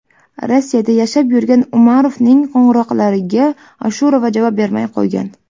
Rossiyada yashab yurgan Umarovning qo‘ng‘iroqlariga Ashurova javob bermay qo‘ygan.